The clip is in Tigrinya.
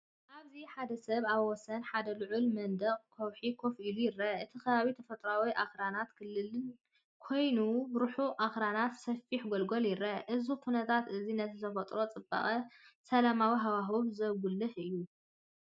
ኣብዚ ሓደ ሰብ ኣብ ወሰን ሓደ ልዑል መንደቕ ከውሒ ኮፍ ኢሉ ይርአ። እቲ ከባቢ ተፈጥሮኣውን ኣኽራናውን ክልል ኮይኑ፡ ርሑቕ ኣኽራንን ሰፊሕ ጎልጎልን ይርአ። እዚ ኩነታት እዚ ነቲ ተፈጥሮኣዊ ጽባቐን ሰላማዊ ሃዋህውን ዘጉልሕ እዩ።